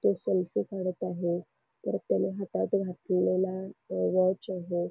तो सेल्फी काढत आहे परत हातात घातलेला वॉच आहे.